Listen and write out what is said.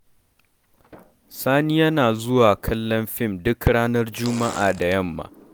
Sani yana zuwa kallon fim duk ranar juma'a da yamma.